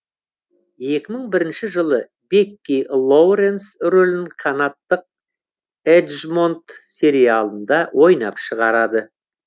екі мың бірінші жылы бекки лоуренс рөлін канадтық эджмонт сериалында ойнап шығарады